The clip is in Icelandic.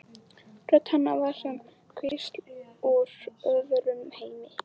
Rödd hennar var sem hvísl úr öðrum heimi.